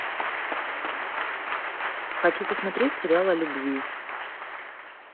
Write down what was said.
хочу посмотреть сериал о любви